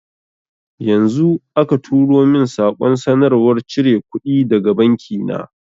Yanzu aka turo min saƙon sanarwar cire kuɗi daga banki na